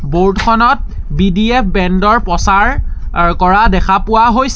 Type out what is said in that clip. Board খনত B D F band ৰ প্ৰচাৰ অ কৰা হৈছে।